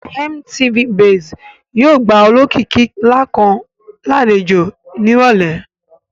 MTV base yóò gba olókìkí ńlá kan lálejò ní ìrọ̀lẹ́